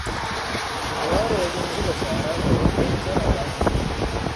Ku ware wajen zuba shara daban don kar a ɓata gari